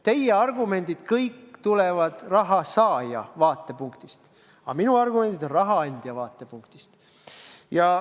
Kõik teie argumendid tulevad raha saaja vaatepunktist, aga minu argumendid on raha andja vaatepunktist.